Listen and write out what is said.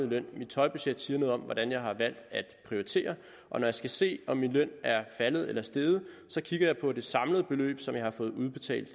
løn mit tøjbudget siger noget om hvordan jeg har valgt at prioritere og når jeg skal se om min løn er faldet eller steget kigger jeg på det samlede beløb som jeg har fået udbetalt